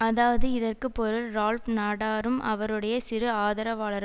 அதாவது இதற்கு பொருள் ரால்ப் நாடாரும் அவருடைய சிறு ஆதரவாளர்